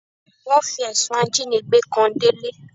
Wọ́n fi ẹ̀sùn ajínigbé kan Délé.